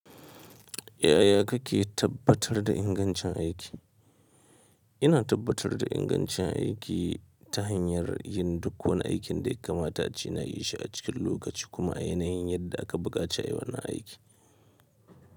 Yaya kake tabbatar da ingancin aiki? Ina tabbatar da ingancin aiki ta hanyar yin duk wani aikin da yakamata ace na yi shi a cikin lokaci kuma a yanayin yadda aka buƙace ayi wannan aiki.